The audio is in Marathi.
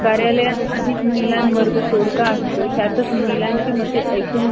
कार्यालयात आधीच महिला वर्ग तोडगा असतो , त्यातच महिलांची मते ऐकून